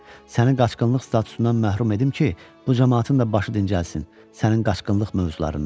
Sənin qaçqınlıq statusundan məhrum edim ki, bu camaatın da başı dincəlsin sənin qaçqınlıq mövzularından.